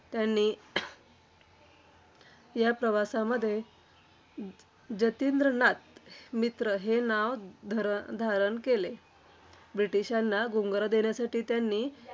त्यांनी या प्रवासामध्ये जतींद्रनाथ मित्र हे नाव धरण धारण केले. ब्रिटिशांना गुंगारा देण्यासाठी त्यांनी